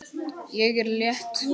Ég er létt.